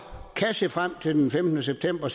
kan se frem til den femtende september